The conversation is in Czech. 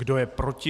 Kdo je proti?